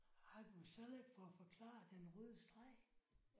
Har du så ikke fået forklaret den røde streg?